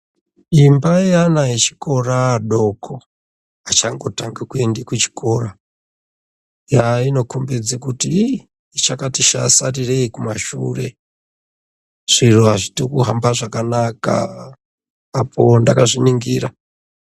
Imba yeana echikora adoko, achangotange kuende kuchikora, Yaa inokhombidze kuti iii chakati sha sarirei kumashure. Zviro azviti kuhamba zvakanaka, apo ndakazviningira.